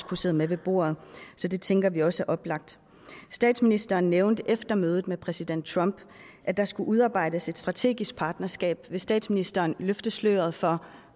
kunne sidde med ved bordet så det tænker vi også er oplagt statsministeren nævnte efter mødet med præsident trump at der skulle udarbejdes et strategisk partnerskab vil statsministeren løfte sløret for